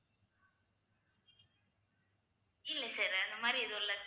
இல்லை sir அந்த மாதிரி எதுவும் இல்ல